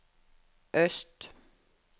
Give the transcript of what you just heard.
øst